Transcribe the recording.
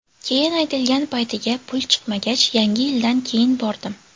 Keyin aytilgan paytiga pul chiqmagach, yangi yildan keyin bordim.